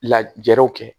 Lajɛriw kɛ